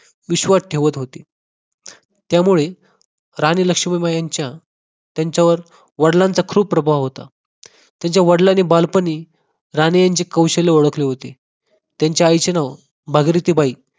विश्वास ठेवत होते त्यामुळे राणी लक्ष्मीबाई यांच्या त्यांच्यावर वडिलांचा खूप प्रभाव होता त्यांच्या वडिलांनी बालपणी राणी यांची कौशल्य ओळखले होते त्यांच्या आईचे नाव भागीरथी बाई